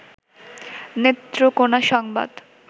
নেত্রকোনা সংবাদ